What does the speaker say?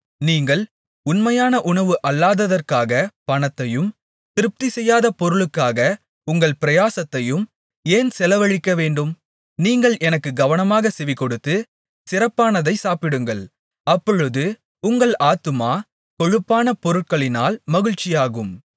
நீங்கள் உண்மையான உணவு அல்லாததற்காகப் பணத்தையும் திருப்திசெய்யாத பொருளுக்காக உங்கள் பிரயாசத்தையும் ஏன் செலவழிக்கவேண்டும் நீங்கள் எனக்குக் கவனமாகச் செவிகொடுத்து சிறப்பானதைச் சாப்பிடுங்கள் அப்பொழுது உங்கள் ஆத்துமா கொழுப்பான பொருட்களினால் மகிழ்ச்சியாகும்